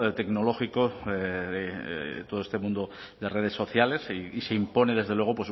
tecnológico todo este mundo de redes sociales y se impone desde luego